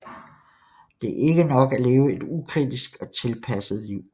Det er ikke nok at leve et ukritisk og tilpasset liv